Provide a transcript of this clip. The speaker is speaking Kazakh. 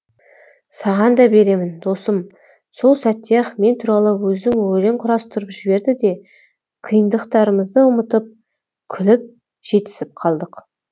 саған да беремін досым сол сәтте ақ мен туралы өзің өлең құрастырып жіберді де қиындықтарымызды ұмытып күліп жетісіп қалдық